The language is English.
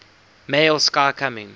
male sky coming